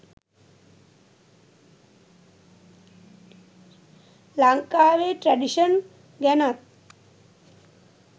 ලංකාවේ ට්‍රැඩිෂන් ගැනත්